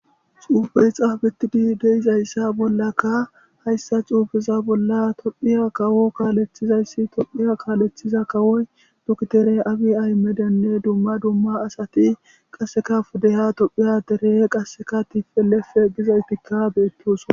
Xuubey xaabetidi deizayssa bollaka hayssa xuufeza bolla tophiya kawo kaalethizayssi tophiya kaalethiza kawoy dukitere abi aymedenne dumma dumma asati qasseka fudeya tophiya tere qasseka tipelefe giza ytikka beettos.